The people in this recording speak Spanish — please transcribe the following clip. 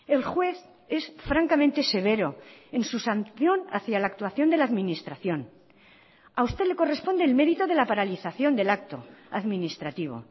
el juez es francamente severo en su sanción hacia la actuación de la administración a usted le corresponde el mérito de la paralización del acto administrativo